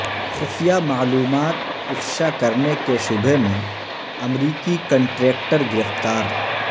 خفیہ معلومات افشا کرنے کے شبہے میں امریکی کنٹریکٹر گرفتار